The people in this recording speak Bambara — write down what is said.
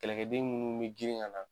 Kɛlɛkɛden minnu be girin ŋa na